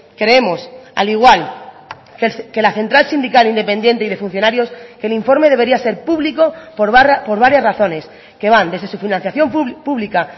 creemos al igual que la central sindical independiente y de funcionarios que el informe debería ser público por varias razones que van desde su financiación pública